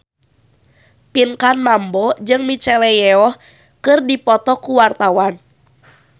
Pinkan Mambo jeung Michelle Yeoh keur dipoto ku wartawan